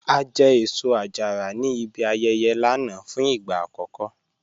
A jẹ́ èṣọ-àjàrà ní ìbí ayẹyẹ̀ lánà fún igba akọkọ